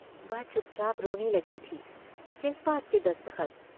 वह चुपचाप रोने लगी थी। किस बात के दस्तखत?